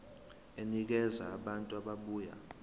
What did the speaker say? enikeza abantu ababuya